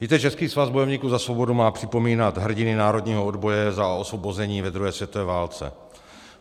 Víte, Český svaz bojovníků za svobodu má připomínat hrdiny národního odboje za osvobození ve druhé světové válce.